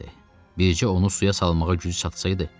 Bircə onu suya salmağa gücü çatsaydı.